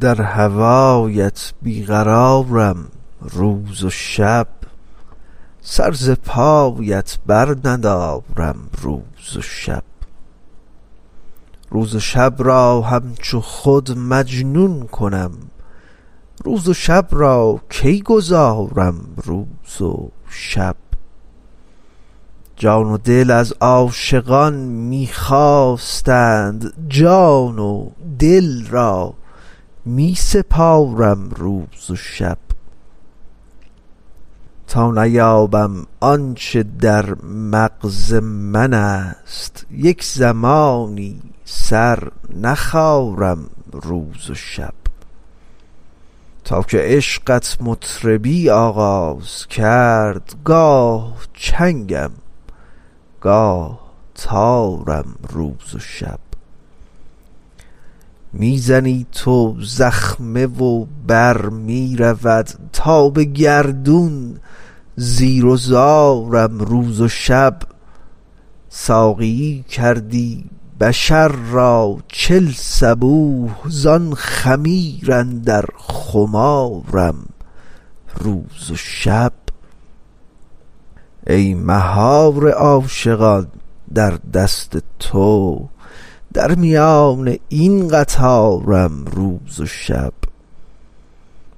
در هوایت بی قرارم روز و شب سر ز پایت برندارم روز و شب روز و شب را همچو خود مجنون کنم روز و شب را کی گذارم روز و شب جان و دل از عاشقان می خواستند جان و دل را می سپارم روز و شب تا نیابم آن چه در مغز منست یک زمانی سر نخارم روز و شب تا که عشقت مطربی آغاز کرد گاه چنگم گاه تارم روز و شب می زنی تو زخمه و بر می رود تا به گردون زیر و زارم روز و شب ساقیی کردی بشر را چل صبوح زان خمیر اندر خمارم روز و شب ای مهار عاشقان در دست تو در میان این قطارم روز و شب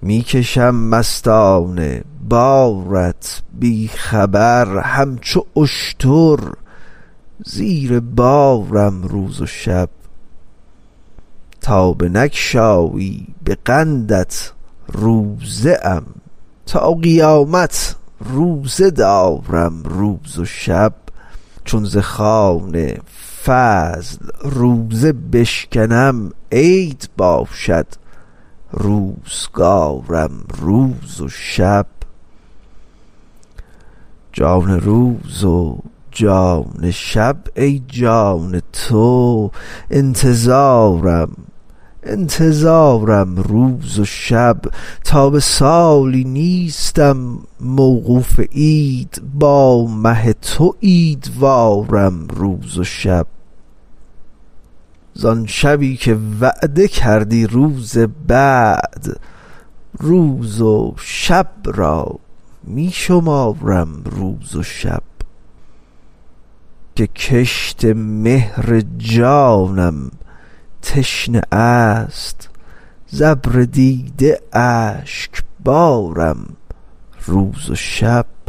می کشم مستانه بارت بی خبر همچو اشتر زیر بارم روز و شب تا بنگشایی به قندت روزه ام تا قیامت روزه دارم روز و شب چون ز خوان فضل روزه بشکنم عید باشد روزگارم روز و شب جان روز و جان شب ای جان تو انتظارم انتظارم روز و شب تا به سالی نیستم موقوف عید با مه تو عیدوارم روز و شب زان شبی که وعده کردی روز وصل روز و شب را می شمارم روز و شب بس که کشت مهر جانم تشنه است ز ابر دیده اشکبارم روز و شب